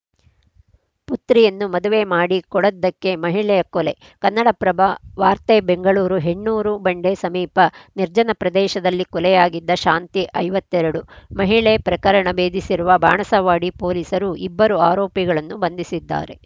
ಪುತ್ರಿಯನ್ನು ಮದುವೆ ಮಾಡಿ ಕೊಡದ್ದಕ್ಕೆ ಮಹಿಳೆಯ ಕೊಲೆ ಕನ್ನಡಪ್ರಭ ವಾರ್ತೆ ಬೆಂಗಳೂರು ಹೆಣ್ಣೂರು ಬಂಡೆ ಸಮೀಪ ನಿರ್ಜನ ಪ್ರದೇಶದಲ್ಲಿ ಕೊಲೆಯಾಗಿದ್ದ ಶಾಂತಿ ಐವತ್ತ್ ಎರಡು ಮಹಿಳೆ ಪ್ರಕರಣ ಬೇಧಿಸಿರುವ ಬಾಣಸವಾಡಿ ಪೊಲೀಸರು ಇಬ್ಬರು ಆರೋಪಿಗಳನ್ನು ಬಂಧಿಸಿದ್ದಾರೆ